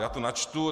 Já to načtu.